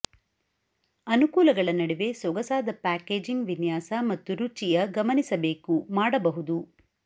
ಅನುಕೂಲಗಳ ನಡುವೆ ಸೊಗಸಾದ ಪ್ಯಾಕೇಜಿಂಗ್ ವಿನ್ಯಾಸ ಮತ್ತು ರುಚಿಯ ಗಮನಿಸಬೇಕು ಮಾಡಬಹುದು